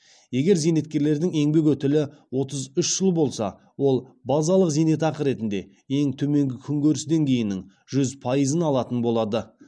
егер зейнеткердің еңбек өтілі отыз үш жыл болса ол базалық зейнетақы ретінде ең төменгі күнкөріс деңгейінің жүз пайызын алатын болады